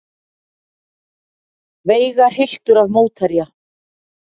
Veigar hylltur af mótherja